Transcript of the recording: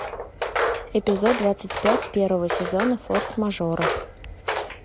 эпизод двадцать пять первого сезона форс мажоры